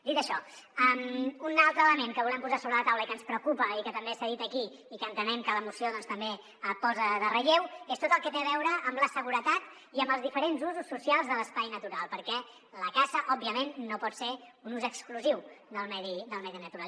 dit això un altre element que volem posar sobre la taula i que ens preocupa i que també s’ha dit aquí i que entenem que la moció també posa en relleu és tot el que té a veure amb la seguretat i amb els diferents usos socials de l’espai natural perquè la caça òbviament no pot ser un ús exclusiu del medi natural